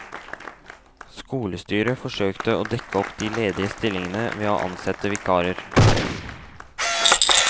Skolestyret forsøkte å dekke opp de ledige stillingene ved å ansette vikarer.